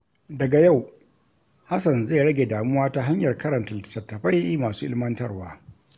Daga yau, Hassan zai rage damuwa ta hanyar karanta littattafai masu ilimantarwa.